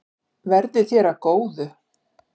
Verði þér að góðu.